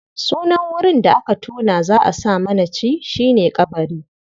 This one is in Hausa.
Sunan wurin da aka tona za a sa manaci shi ne ƙabari.